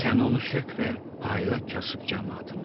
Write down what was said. Sən onu sök və payla kasıb camaatıma.